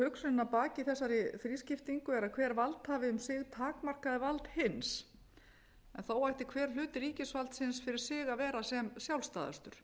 hugsunin að baki þessari slíkri skiptingu er að hver valdhafi um sig takmarkaði vald hins en þó ætti hver hluti ríkisvaldsins fyrir sig að vera sem sjálfstæðastur